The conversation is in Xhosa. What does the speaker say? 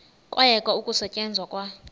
kwayekwa ukusetyenzwa kwa